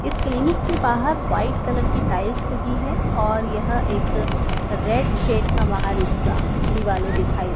इस क्लीनिक के बाहर व्हाइट कलर की टाइल्स लगी है और यह एक रेड शेड का बाहर इसका दिवाले दिखाई --